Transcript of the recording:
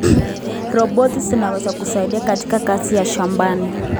Roboti zinaweza kusaidia katika kazi za shambani.